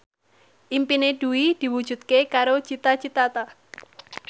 impine Dwi diwujudke karo Cita Citata